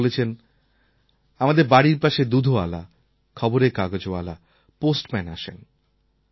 তিনি বলেছেন আমাদের বাড়ির পাশে দুধওয়ালা খবরের কাগজওয়ালা পোস্টম্যান আসেন